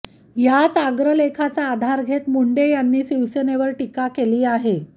याच अग्रलेखाचा आधार घेत मुंडे यांनी शिवसेनेवर टीका केली आहे